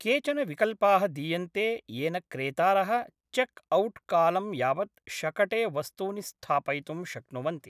केचन विकल्पाः दीयन्ते येन क्रेतारः चेक् औट्कालं यावत् शकटे वस्तूनि स्थापयितुं शक्नुवन्ति।